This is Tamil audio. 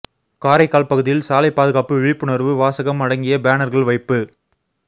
காரைக்கால் பகுதியில் சாலை பாதுகாப்பு விழிப்புணர்வு வாசகம் அடங்கிய பேனர்கள் வைப்பு